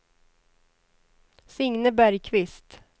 Signe Bergqvist